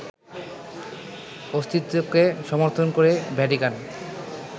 অস্তিত্বকে সমর্থন করে ভ্যাটিকান